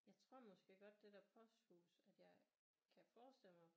Jeg tror måske godt det der posthus at jeg kan forestille mig